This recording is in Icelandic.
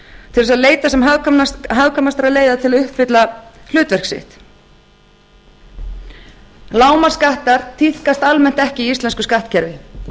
til þess að leita sem hagkvæmastra leiða til að uppfylla hlutverk sitt lágmarksskattar tíðkast almennt ekki í íslensku skattkerfi